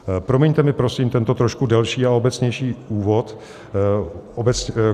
Promiňte mi, prosím, tento trošku delší a obecnější úvod.